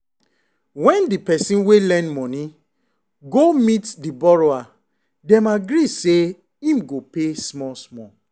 when the person wey lend money go meet the borrower them agree say him go pay small small.